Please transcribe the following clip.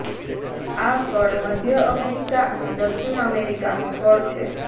આ ફળ મધ્ય અમેરિકા અને દક્ષિણ અમેરિકાનું ફળ છે